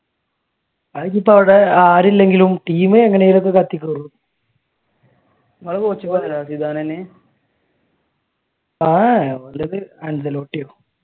അതിനിപ്പോ അവിടെ ആരില്ലെങ്കിലും ടീം എങ്ങനെയെങ്കിലുമൊക്കെ തട്ടി കേറും